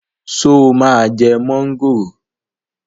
Ṣé o máa jẹ mọ́ngòrò